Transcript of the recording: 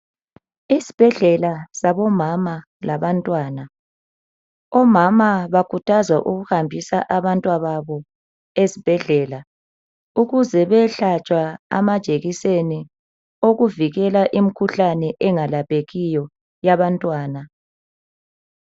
Esibhedlela sabomama labantwana omama bakhuthazwa ukuhambisa abantwababo esibhedlela ukuze bayehlatshwa amajekiseni okuvikela imikhuhlane engelaphekiyo yabantwana.